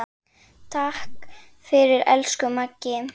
Takk fyrir, elsku Maggi.